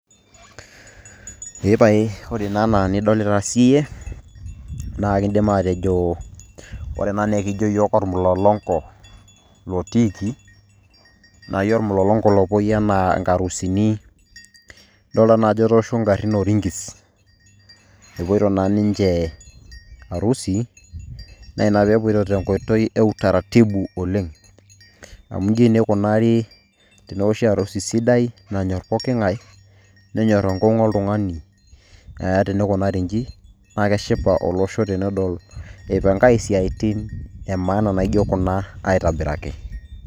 Epae ore naa enidolita siyie, na kidim atejo ore ena na akijo yiook olmulolonko lotiiki, nai olmulolonko lopoi enaa enkarusini, dolta naa ajo etoosho orinkis. Epoito na ninche arusi, na ina pepoito tenkoitoi e utaratibu oleng'. Amu iji naa ikunari tenewoshi arusi sidai, nanyor pooking'ae nenyor enkeng'u oltung'ani, eh teikunari iji, naa keshipa olosho tenedol ipankae isiaitin emaana naijo kuna aitobiraki.